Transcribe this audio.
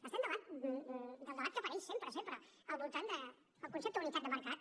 estem davant del debat que apareix sempre sempre al voltant del concepte d’unitat de mercat